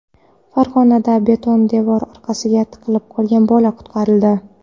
Farg‘onada beton devor orasiga tiqilib qolgan bola qutqarildi.